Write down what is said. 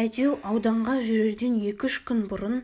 әйтеу ауданға жүрерден екі-үш күн бұрын